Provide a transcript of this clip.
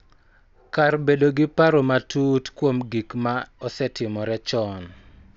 Kar bedo gi paro matut kuom gik ma osetimore chon.